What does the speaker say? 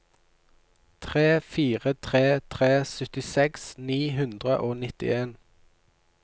tre fire tre tre syttiseks ni hundre og nittien